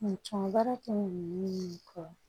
N cɔn baara kɛɲɔgɔn kɔ